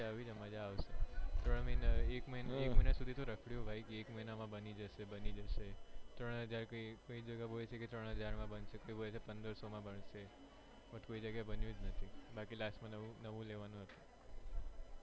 ત્રણ મહિના એક મહિના સુધી તો રખડ્યો એક મહિના માં બની જશે બની જશે કોઈ જગ્યાએ ત્રણ હજાર માં બનશે કોઈ હોય પંદરસો માં બનશે પણ બન્યો જ નથી બાકી last માં નવું લેવાનું હતુ.